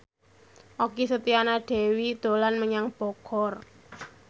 Okky Setiana Dewi dolan menyang Bogor